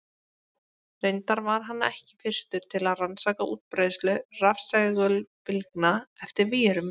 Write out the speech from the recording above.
Reyndar var hann ekki fyrstur til að rannsaka útbreiðslu rafsegulbylgna eftir vírum.